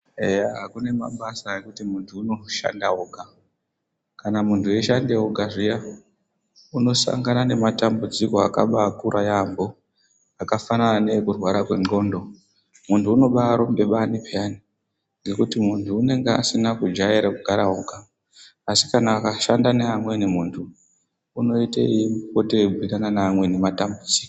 Eya kune mabasa ekuti munthu unoshande oga kana munthu eishanda oga zviya unosangana nematambudziko akabakura yaambo akafanana neekurwara nendxondo munthu unobaarumbe bani peyano ngekuti munthu unenge asina kujaira kugara oga asi kana akashanda neamweni munthu unoite eipote eibhiirana neamweni matambudziko.